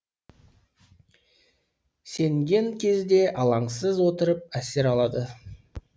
сенген кезде алаңсыз отырып әсер алады